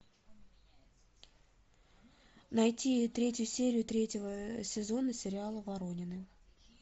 найти третью серию третьего сезона сериала воронины